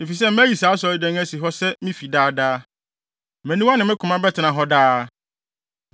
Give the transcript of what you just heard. efisɛ mayi saa Asɔredan yi asi hɔ sɛ me fi daa daa. Mʼaniwa ne me koma bɛtena ha daa.